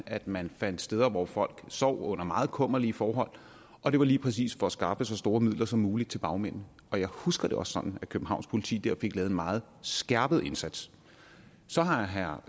at man fandt steder hvor folk sov under meget kummerlige forhold og det var lige præcis for at skaffe så store midler som muligt til bagmændene jeg husker det også sådan at københavns politi der fik lavet en meget skærpet indsats så har herre